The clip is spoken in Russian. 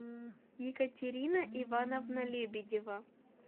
екатерина ивановна лебедева